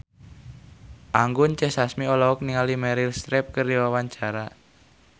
Anggun C. Sasmi olohok ningali Meryl Streep keur diwawancara